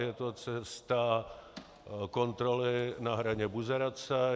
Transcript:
Je to cesta kontroly na hraně buzerace.